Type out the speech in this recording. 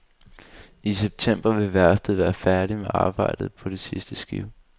I september vil værftet være færdig med arbejdet på det sidste skib.